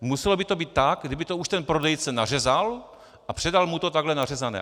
Muselo by to být tak, kdyby to už ten prodejce nařezal a předal mu to takhle nařezané.